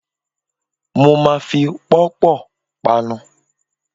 Mo ma fi pọ́pọ̀ panu.